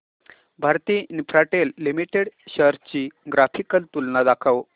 Bharti Infratel limited shares ची graphical तुलना दाखव